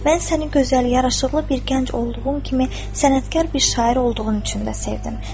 Mən səni gözəl yaraşıqlı bir gənc olduğun kimi, sənətkar bir şair olduğun üçün də sevdim.